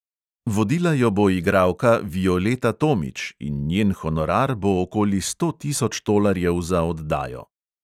Vodila jo bo igralka violeta tomič in njen honorar bo okoli sto tisoč tolarjev za oddajo.